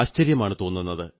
ആശ്ചര്യമാണു തോന്നുന്നത്